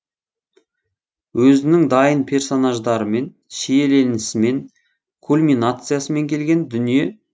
өзінің дайын персонаждарымен шиеленісімен кульминациясымен келген дүние